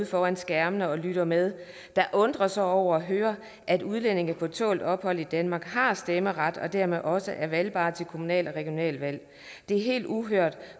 foran skærmene og lytter med der undrer sig over at høre at udlændinge på tålt ophold i danmark har stemmeret og dermed også er valgbare til kommunale og regionale valg det er helt uhørt